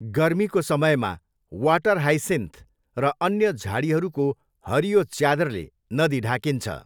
गर्मीको समयमा, water hyacinth र अन्य झाडीहरूको हरियो च्यादरले नदी ढाकिन्छ।